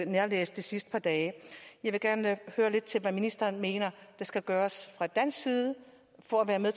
nærlæst det sidste par dage jeg vil gerne høre hvad ministeren mener der skal gøres fra dansk side for at være med